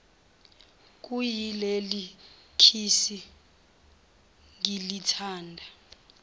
kuyileli khishi ngilithanda